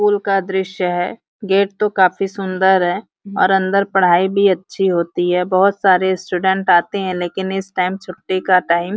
पुल का दृश्य है गेट तो काफ़ी सुन्दर है और अंदर पढ़ाई भी अच्छी होती है बहुत सारे स्टूडेंट आते हैं लेकिन इस टाइम छुट्टी का टाइम --